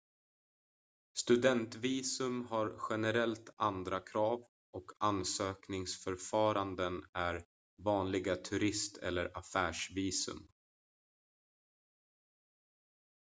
studentvisum har generellt andra krav och ansökningsförfaranden än vanliga turist- eller affärsvisum